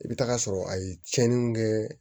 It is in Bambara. I bɛ taa sɔrɔ a ye tiɲɛniw kɛ